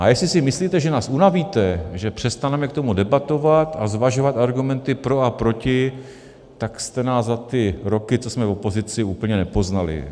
A jestli si myslíte, že nás unavíte, že přestaneme k tomu debatovat a zvažovat argumenty pro a proti, tak jste nás za ty roky, co jsme v opozici, úplně nepoznali.